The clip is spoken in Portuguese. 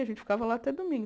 A gente ficava lá até domingo.